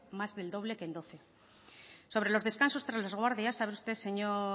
más del doble que en doce sobre los descansos tras las guardias sabe usted señor